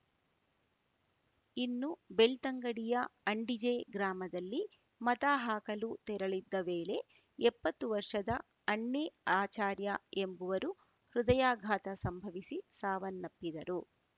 ಇನ್ನು ಬೆಳ್ತಂಗಡಿಯ ಅಂಡಿಜೆ ಗ್ರಾಮದಲ್ಲಿ ಮತ ಹಾಕಲು ತೆರಳಿದ್ದ ವೇಳೆ ಎಪ್ಪತ್ತು ವರ್ಷದ ಅಣ್ಣಿ ಆಚಾರ್ಯ ಎಂಬುವರು ಹೃದಯಾಘಾತ ಸಂಭವಿಸಿ ಸಾವನ್ನಪ್ಪಿದರು